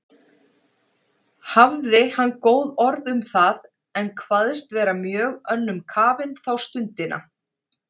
Hafði hann góð orð um það, en kvaðst vera mjög önnum kafinn þá stundina.